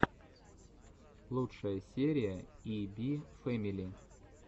лучшая серия и би фэмили